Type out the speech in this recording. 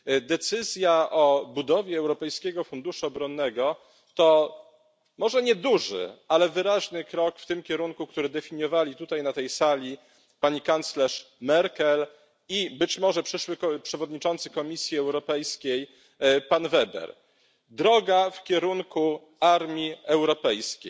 Decyzja o utworzeniu Europejskiego Funduszu Obronnego to może nieduży, ale wyraźny krok w kierunku, który definiowali tutaj, na tej sali pani kanclerz Merkel i możliwy przyszły przewodniczący Komisji Europejskiej pan Weber droga w kierunku armii europejskiej.